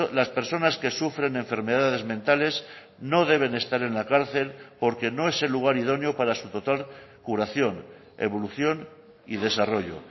las personas que sufren enfermedades mentales no deben estar en la cárcel porque no es el lugar idóneo para su total curación evolución y desarrollo